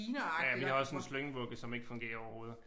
Ja vi har også en slyngvugge som ikke fungerer overhovedet